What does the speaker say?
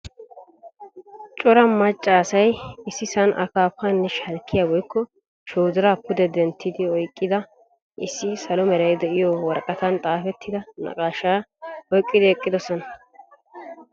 Cora macca asay issisan akkaafanne shalkkiyaa woykko shoodira pude denttidi oyqqida issi salo meray deiyo woraqatan xaafettida naqqaasha oyqqidi eqqidosona.